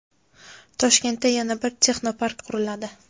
Toshkentda yana bir texnopark quriladi.